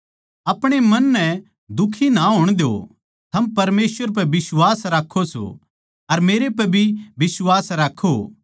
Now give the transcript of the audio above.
अपणे मन नै दुखी ना होण द्यो थम परमेसवर पै बिश्वास राक्खो सो अर मेरै पै भी बिश्वास राक्खो